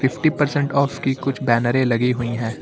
Fifty percent off की कुछ बैनरें लगी हुई हैं।